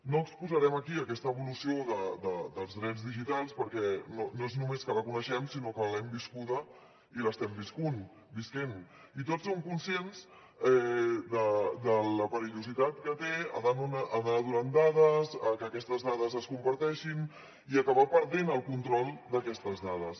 no exposarem aquí aquesta evolució dels drets digitals perquè no és només que la coneixem sinó que l’hem viscuda i l’estem vivint i tots som conscients de la perillositat que té anar donant dades que aquestes dades es comparteixin i acabar perdent el control d’aquestes dades